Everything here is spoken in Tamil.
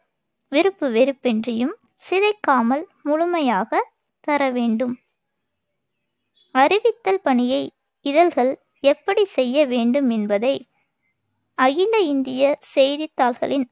விருப்பு வெறுப்பின்றியும், சிதைக்காமல் முழுமையாகத் தரவேண்டும் அறிவித்தல் பணியை இதழ்கள் எப்படிச் செய்ய வேண்டும் என்பதை அகில இந்தியச் செய்தித்தாள்களின்